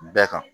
Bɛɛ kan